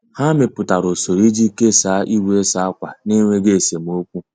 Ha mepụtara usoro iji kesaa igwe ịsa akwa n'enweghị esemokwu.